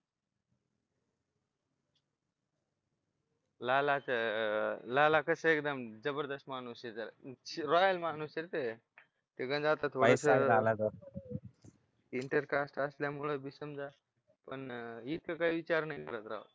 लालाचा लाला कसा एकदम जबरदस्त माणूस आहे जरा रॉयल माणूस आहे रे इंटरकास्ट असल्यामुळे बी समजा पण इथं काही विचार नाही